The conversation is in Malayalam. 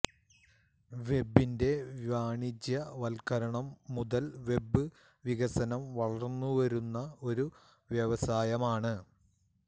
വെബിന്റെ വാണിജ്യവത്ക്കരണം മുതൽ വെബ് വികസനം വളർന്നുവരുന്ന ഒരു വ്യവസായമാണ്